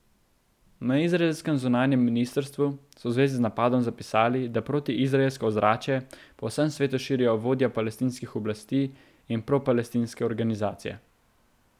Na izraelskem zunanjem ministrstvu so v zvezi z napadom zapisali, da protiizraelsko ozračje po vsem svetu širijo vodja palestinskih oblasti in propalestinske organizacije.